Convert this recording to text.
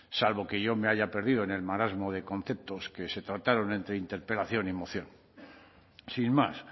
salvo que yo me haya perdido en el marasmo de conceptos que se trataron entre interpelación y moción sin más